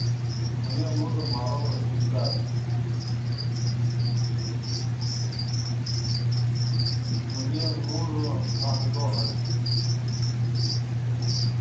мне нужен мороженное киткат мне нужен макдональдс